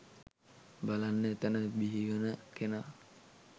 බලන්න එතන බිහි වන කෙනා